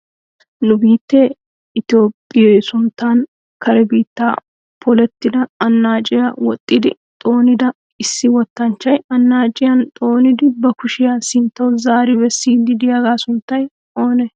Nu biittee itoophphiyoo sunttan kare biittan polettida annaaciyaa woxxidi xoonida issi wotanchchay annaaciyaan xoonidi ba kushiyaa sinttawu zaaridi bessiidi diyaaga sunttay oonee?